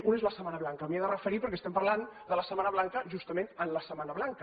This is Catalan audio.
un és la setmana blanca m’hi he de referir perquè estem parlant de la setmana blanca justament en la setmana blanca